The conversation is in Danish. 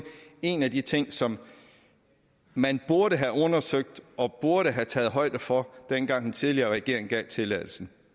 en af de ting som man burde have undersøgt og burde have taget højde for dengang den tidligere regering gav tilladelsen